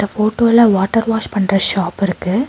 இந்த ஃபோட்டோல water wash பண்ற ஷாப் இருக்கு.